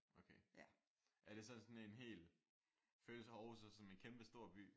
Okay. Er det så sådan en hel øles Aarhus så som en kæmpestor by?